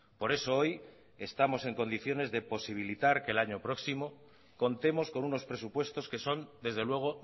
por eso hoy estamos en condiciones de posibilitar que el año próximo contemos con unos presupuestos que son desde luego